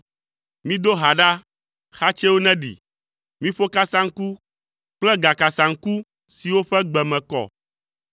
Mido ha ɖa, xatsɛwo neɖi, miƒo kasaŋku kple gakasaŋku siwo ƒe gbe me kɔ.